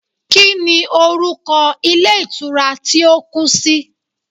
Kíni orúkọ Ilé Ìtura tí ó kú si